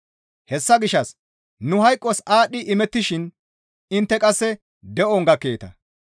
Hessa gishshas nu hayqos aadhdhi imettishin intte qasse de7on gakkeeta.